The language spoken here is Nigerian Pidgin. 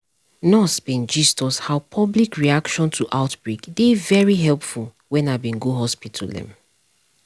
nurse bin gist us how public reaction to outbreak dey very helpful wen i go bin go hospital um